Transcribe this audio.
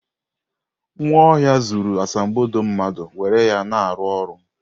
Nwaohia zuru asambodo mmadu were ya na-aru oru.